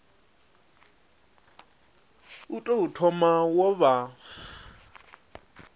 u tou thoma wo vha